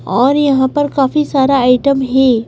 और यहाँ पर काफी सारा आइटम है।